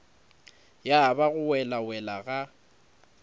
ya ba go welawela ga